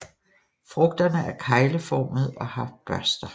Frugterne er kegeleformede og har børster